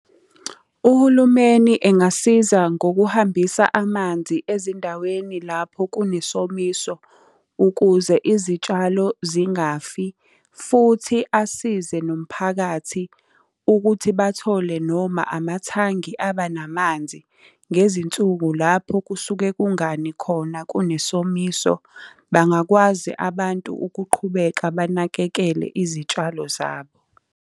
Uhulumeni engasiza ngokuhambisa amanzi ezindaweni lapho kunesomiso, ukuze izitshalo zingafi, futhi asize nomphakathi ukuthi bathole noma amathangi aba namanzi. Ngezinsuku lapho kusuke kungani khona kunesomiso, bangakwazi abantu ukuqhubeka banakekele izitshalo zabo.